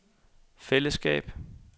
fællesskab